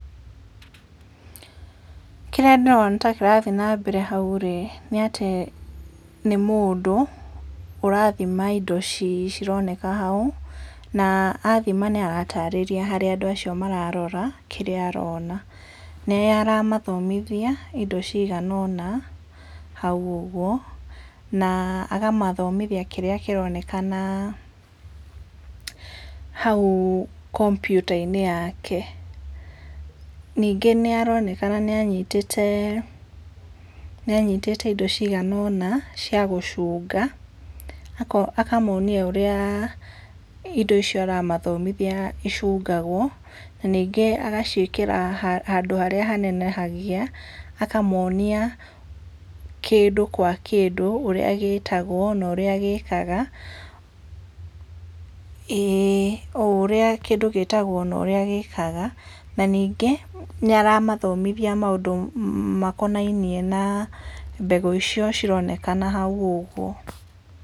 Kĩrĩa ndĩrona ta kĩrathi nambere hau rĩ, nĩatĩ nĩmũndũ, ũrathima indo ici cironeka hau, na athima nĩaratarĩrĩa harĩ andũ acio mararora, kĩrĩa arona. Nĩaramathomithia, indo ciganona, hau ũguo, na akamathomithia kĩrĩa kĩronekana hau kombyutainĩ yake. Ningĩ nĩaronekana nĩanyitĩte, nĩanyitĩte indo ciganona, cia gũcunga, ako akamonia ũrĩa, indo icio aramathomithia icungagwo, na ningĩ agaciĩkĩra ha handũ harĩa hanenehagia, akamonia kĩndũ kwa kĩndũ, ũrĩa gĩtagwo, na ũrĩa gĩkaga, ĩĩ, o ũrĩa kĩndũ gĩtagwo na ũrĩa gĩkaga, na ningĩ nĩaramathomithia maũndũ makonainie na mbegũ icio cironekana hau ũguo.